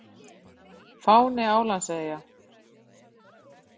Fáni Álandseyja.